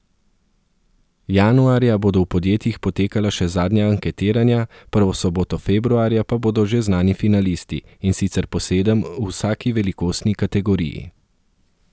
Januarja bodo v podjetjih potekala še zadnja anketiranja, prvo soboto februarja pa bodo že znani finalisti, in sicer po sedem v vsaki velikostni kategoriji.